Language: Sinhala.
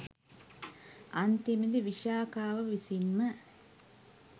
අන්තිමේදී විශාඛාව විසින්ම